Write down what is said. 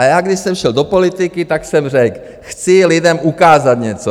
A já, když jsem šel do politiky, tak jsem řekl, chci lidem ukázat něco.